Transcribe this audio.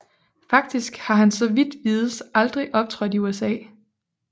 Faktisk har han så vidt vides aldrig optrådt i USA